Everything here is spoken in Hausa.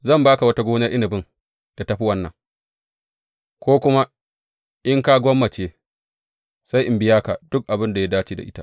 Zan ba ka wata gonar inabin da ta fi wannan, ko kuma in ka gwammace, sai in biya ka duk abin da ya dace da ita.